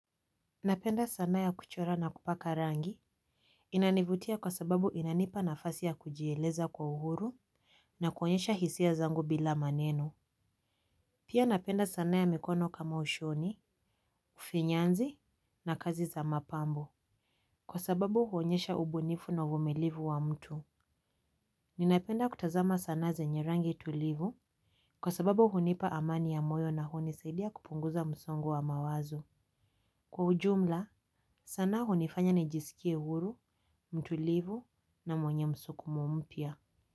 Napenda sanaa ya kuchora na kupaka rangi. Inanivutia kwa sababu inanipa nafasi ya kujieleza kwa uhuru na kuonyesha hisia zangu bila maneno. Pia napenda sanaa ya mikono kama ushoni ufinyanzi na kazi za mapambo kwa sababu huonyesha ubunifu na uvumilivu wa mtu. Ninapenda kutazama sanaa zenye rangi tulivu kwa sababu hunipa amani ya moyo na hunisaidia kupunguza msongo wa mawazo kwa ujumla. Sanaa hunifanya nijisikie huru, mtulivu na mwenye msukumo mpya.